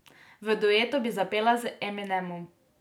V duetu bi zapela z Eminemom.